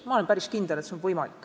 Ma olen päris kindel, et see on võimalik.